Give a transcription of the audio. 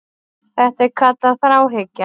Þetta er kallað þráhyggja.